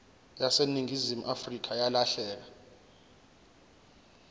yaseningizimu afrika yalahleka